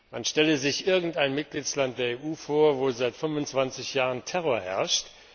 Man stelle sich irgendein Mitgliedsland der EU vor, wo seit 25 Jahren Terror herrscht.